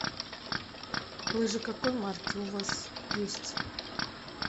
лыжи какой марки у вас есть